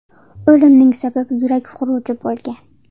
O‘limining sababi yurak xuruji bo‘lgan.